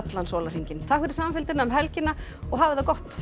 sólarhringinn takk fyrir samfylgdina um helgina og hafið það gott